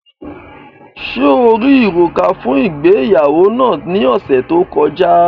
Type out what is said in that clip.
Ṣe o ri òrúkà fun ìgbéyàwó naa ni ọsẹ to kọja?